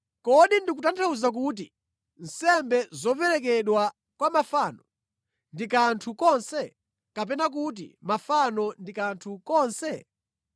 Kodi ndikutanthauza kuti nsembe zoperekedwa kwa mafano ndi kanthu konse, kapena kuti mafano ndi kanthu konse?